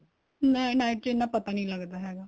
ਨਹੀਂ night ਚ ਇੰਨਾ ਪਤਾ ਨਹੀਂ ਲੱਗਦਾ ਹੈਗਾ